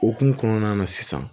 Okumu kɔnɔna na sisan